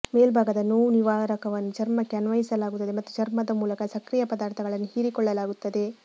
ಮೇಲ್ಭಾಗದ ನೋವುನಿವಾರಕವನ್ನು ಚರ್ಮಕ್ಕೆ ಅನ್ವಯಿಸಲಾಗುತ್ತದೆ ಮತ್ತು ಚರ್ಮದ ಮೂಲಕ ಸಕ್ರಿಯ ಪದಾರ್ಥಗಳನ್ನು ಹೀರಿಕೊಳ್ಳಲಾಗುತ್ತದೆ